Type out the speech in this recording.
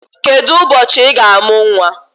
Kedụ ụbọchị Ị ga-amụ nwa?